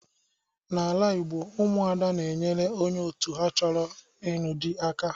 N'ala Igbo Ụmụada na-enyere onye otu ha choro ịnụ di aka.